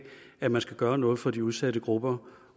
at man skal gøre noget for de udsatte grupper